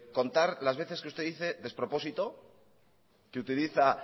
contar las veces que usted dice despropósito que utiliza